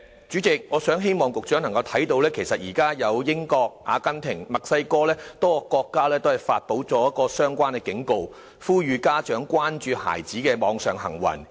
主席，我希望局長看到，現在英國、阿根廷及墨西哥多個國家都發出相關警告，呼籲家長關注孩子的網上行為。